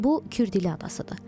Bu Kür dili adasıdır.